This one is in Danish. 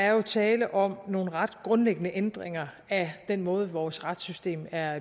er tale om nogle ret grundlæggende ændringer af den måde vores retssystem er